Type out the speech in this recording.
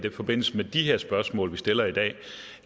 i forbindelse med de her spørgsmål som vi stiller i dag